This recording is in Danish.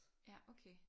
Ja okay